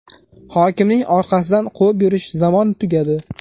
Hokimning orqasidan quvib yurish zamoni tugadi.